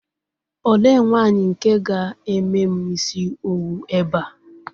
Olee nwaanyi nke ga-eme m isi owu ebe a?